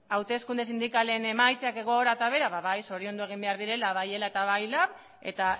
hauteskunde sindikalen emaitza gora eta behera zoriondu egin behar direla bai ela eta bai lab eta